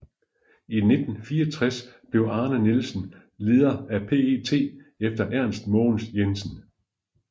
I 1964 blev Arne Nielsen leder af PET efter Ernst Mogens Jensen